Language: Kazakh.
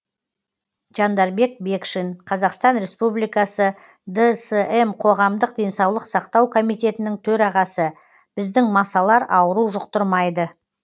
жандарбек бекшин қазақстан республикасы дсм қоғамдық денсаулық сақтау комитетінің төрағасы біздің масалар ауру жұқтырмайды